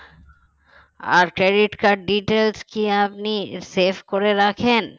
আর credit card details কি আপনি save করে রাখেন